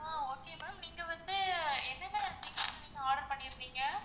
ஆஹ் okay ma'am நீங்க வந்து என்னென்ன things வந்து order பண்ணிருந்தீங்க?